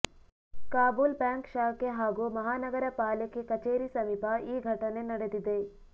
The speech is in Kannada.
ಕಾಬೂಲ್ ಬ್ಯಾಂಕ್ ಶಾಖೆ ಹಾಗೂ ಮಹಾನಗರ ಪಾಲಿಕೆ ಕಚೇರಿ ಸಮೀಪ ಈ ಘಟನೆ ನಡೆದಿದೆ